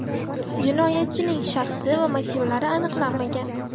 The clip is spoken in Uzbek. Jinoyatchining shaxsi va motivlari aniqlanmagan.